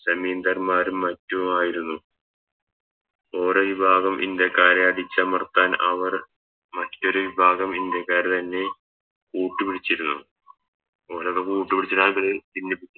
സമീന്തർമ്മാരും മറ്റുമായിരുന്നു ഓരോ വിഭാഗം ഇന്ത്യക്കാരെ അടിച്ചമർത്താൻ അവർ മറ്റൊരു വിഭാഗം ഇന്ത്യക്കാർ തന്നെ കൂട്ടുപിടിച്ചിരുന്നു ഓലൊക്കെ കൂട്ട് പിടിച്ചിട്ട ഇവല് ഭിന്നിപ്പിച്ചേ